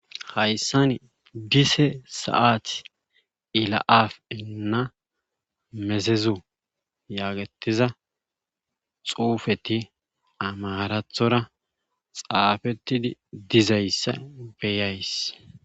Hayssani dise se7ati ila7aafi inna mezezu yaagettiza xuufetti amaarathora xaafettidi dizayssa be7ays.